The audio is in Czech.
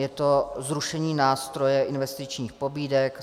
Je to zrušení nástroje investičních pobídek.